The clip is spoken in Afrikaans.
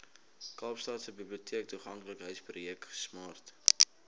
kaapstadse biblioteektoeganklikheidsprojek smart